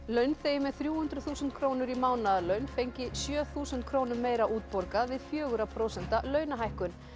launþegi með þrjú hundruð þúsund krónur í mánaðarlaun fengi sjö þúsund krónum meira útborgað við fjögurra prósenta launahækkun